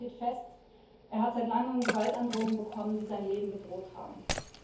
Aber eines steht fest Er hat seit langem Gewaltandrohungen bekommen, in denen sein Leben bedroht wurde.